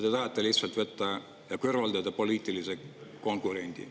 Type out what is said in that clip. Te tahate lihtsalt kõrvaldada poliitilise konkurendi.